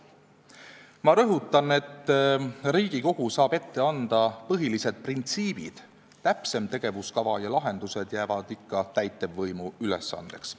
Ma rõhutan, et Riigikogu saab ette anda põhilised printsiibid, täpsem tegevuskava ja lahendused jäävad ikka täitevvõimu ülesandeks.